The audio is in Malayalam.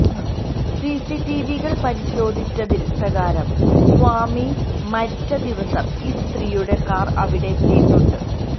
സിസിടിവികള് പരിശോധിച്ചതില് പ്രകാരം സ്വാമി മരിച്ച ദിവസം ഈ സ്ത്രീയുടെ കാറ് അവിടെ എത്തിയിട്ടുണ്ട്